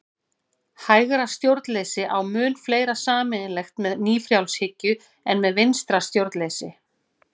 Hægra stjórnleysi á mun fleira sameiginlegt með nýfrjálshyggju en með vinstra stjórnleysi.